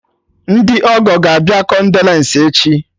Ndị ọgọ ga-abịa kondolence echi